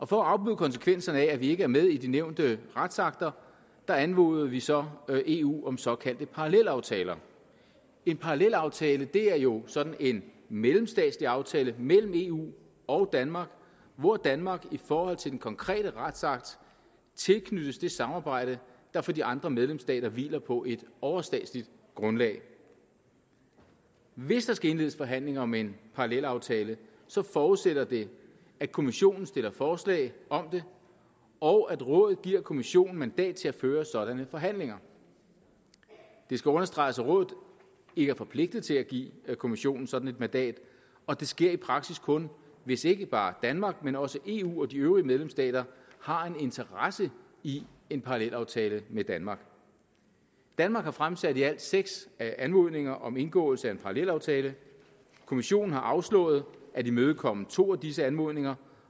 for at afbøde konsekvenserne af at vi ikke er med i de nævnte retsakter anmoder vi så eu om såkaldte parallelaftaler en parallelaftale er jo sådan en mellemstatslig aftale mellem eu og danmark hvor danmark i forhold til den konkrete retsakt tilknyttes det samarbejde der for de andre medlemsstater hviler på et overstatsligt grundlag hvis der skal indledes forhandlinger om en parallelaftale forudsætter det at kommissionen stiller forslag om det og at rådet giver kommissionen mandat til at føre sådanne forhandlinger det skal understreges at rådet ikke er forpligtet til at give kommissionen sådan et mandat og det sker i praksis kun hvis ikke bare danmark men også eu og de øvrige medlemsstater har en interesse i en parallelaftale med danmark danmark har fremsat i alt seks anmodninger om indgåelse af en parallelaftale kommissionen har afslået at imødekomme to af disse anmodninger